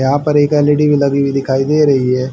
यहां पर एक एल_इ_डी भी लगी हुई दिखाई दे रही है।